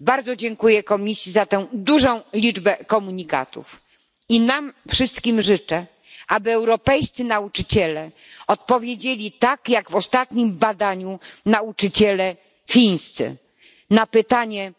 Bardzo dziękuję Komisji za tę dużą liczbę komunikatów i nam wszystkim życzę, aby europejscy nauczyciele odpowiedzieli tak jak w ostatnim badaniu nauczyciele chińscy na pytanie